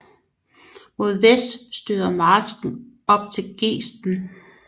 Mod vest støder marsken op til Gesten